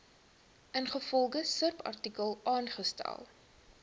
ingevolge subartikel aangestel